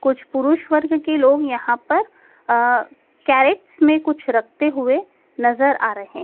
कुछ पुरुष वर्ग के लोग यहां पर अ कैरेट्स में कुछ रखते हुए नजर आ रहे हैं।